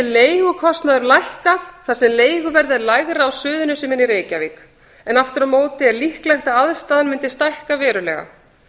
leigukostnaður lækkað þar sem leiguverð er lægra á suðurnesjum en í reykjavík en aftur á móti er líklegt að aðstaðan myndi stækka verulega